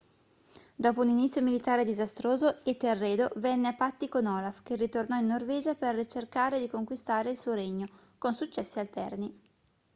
dopo un inizio militare disastroso etelredo venne a patti con olaf che ritornò in norvegia per cercare di conquistare il suo regno con successi alterni